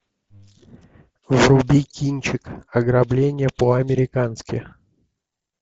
вруби кинчик ограбление по американски